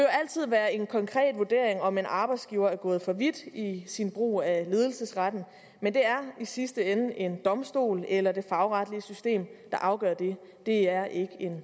altid være en konkret vurdering om en arbejdsgiver er gået for vidt i sin brug af ledelsesretten men det er i sidste ende en domstol eller det fagretlige system der afgør det det er ikke en